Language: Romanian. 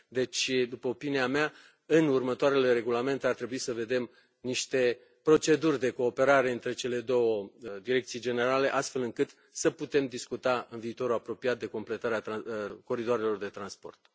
Deci, după opinia mea, în următoarele regulamente ar trebui să vedem niște proceduri de cooperare între cele două direcții generale, astfel încât să putem discuta în viitorul apropiat de completarea coridoarelor de transport.